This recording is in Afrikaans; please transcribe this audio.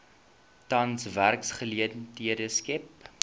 tans werksgeleenthede skep